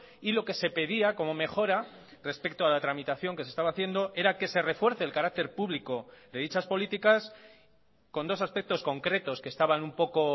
y lo que se pedía como mejora respecto a la tramitación que se estaba haciendo era que se refuerce el carácter público de dichas políticas con dos aspectos concretos que estaban un poco